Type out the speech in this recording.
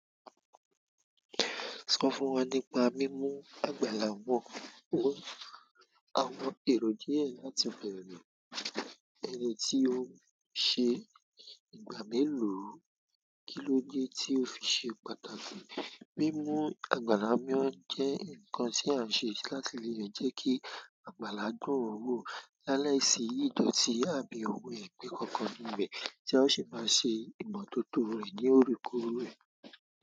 Sọ fún wa nípa mímú àgbàlá wọ́. Àwọn èrò díẹ̀ láti bẹ̀rẹ̀. Ẹni tí ó ń ṣe ìgbà mélòó, kí ló dé tí ó fi ṣe pàtàkì? Mímú àgbàlá mọ́ jẹ́ ǹkan tí à ń ṣe láti lè jẹ́ kí àgbàlá dún wọ̀ lá láì si idoti àbí àwọn eepé kankan ní ibe tí a sì máa ṣe ìmotótó rẹ̀ ní oorekoorẹ̀.